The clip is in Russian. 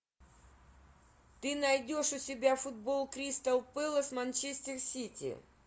ты найдешь у себя футбол кристал пэлас манчестер сити